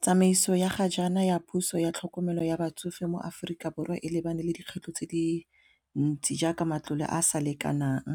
Tsamaiso ya ga jaana ya puso ya tlhokomelo ya batsofe mo Aforika Borwa e lebane le dikgwetlho tse di ntsi jaaka matlole a sa lekanang